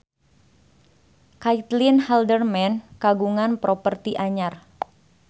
Caitlin Halderman kagungan properti anyar